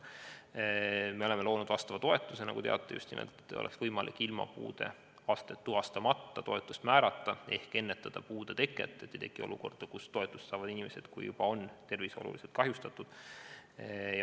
Me oleme loonud vastava toetuse, nagu te teate, et oleks võimalik toetust määrata ilma puudeastet tuvastamata ehk ennetada puude teket – et ei tekiks olukorda, kus toetust saavad inimesed siis, kui tervis on juba oluliselt kahjustunud.